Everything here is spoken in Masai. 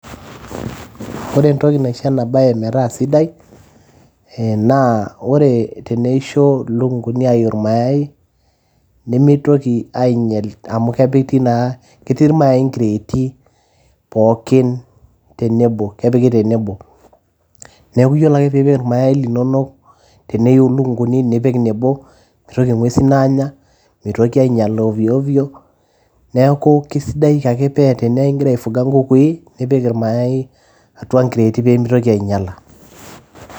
ore entoki naisho ena baye metaa sidai ee naa teneisho ilukunguni aiu ir mayai nemitoki ainyial amu kepiti naa ketii irmayai inkireeti pookin tenebo, kepiki tenebo, neeku yiolo ake piipik ir mayai linonok teniyiu ilukunguni nipik nebo mitoki ing'uesin aanya, mitoki ainyiala ovyo ovyo neeku kisidai ake pee tenaa ingira aifuga inkukui nipik irmayai atua inkireeti pee mitoki ainyiaala.